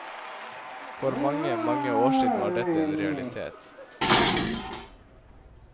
For mange, mange år siden var dette en realitet.